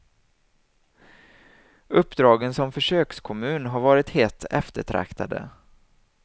Uppdragen som försökskommun har varit hett eftertraktade.